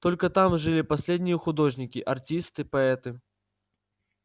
только там жили последние художники артисты поэты